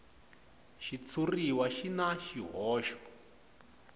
xitshuriwa xi na swihoxo